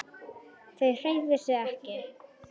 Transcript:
Þau hreyfðu sig ekki.